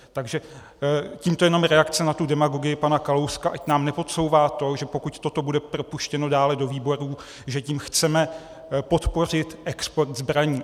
Takže tímto jenom reakce na tu demagogii pana Kalouska, ať nám nepodsouvá to, že pokud toto bude propuštěno dále do výborů, že tím chceme podpořit export zbraní.